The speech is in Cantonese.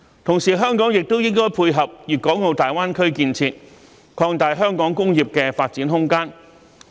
同時，香港也應配合粵港澳大灣區建設，擴大香港工業的發展空間。